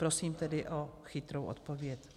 Prosím tedy o chytrou odpověď.